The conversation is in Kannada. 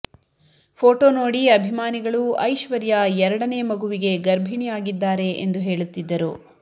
ಫೋಟೋ ನೋಡಿ ಅಭಿಮಾನಿಗಳು ಐಶ್ವರ್ಯಾ ಎರಡನೇ ಮಗುವಿಗೆ ಗರ್ಭಿಣಿ ಆಗಿದ್ದಾರೆ ಎಂದು ಹೇಳುತ್ತಿದ್ದರು